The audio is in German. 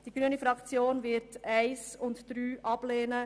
Die grüne Fraktion wird die Ziffern 1 und 3 ablehnen.